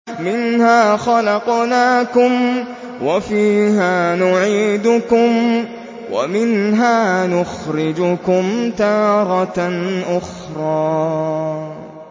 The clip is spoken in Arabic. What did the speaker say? ۞ مِنْهَا خَلَقْنَاكُمْ وَفِيهَا نُعِيدُكُمْ وَمِنْهَا نُخْرِجُكُمْ تَارَةً أُخْرَىٰ